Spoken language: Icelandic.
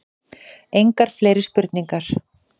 Engar fleiri spurningar.